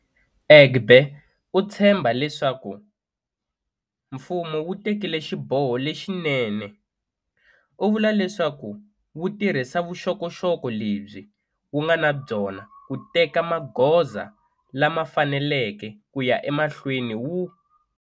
Egbe u tshembha leswaku mfumo wu tekile xiboho lexinene. U vula leswaku wu tirhisa vuxokoxoko lebyi wu nga na byona ku teka magoza lama faneleke ku ya emahlweni wu.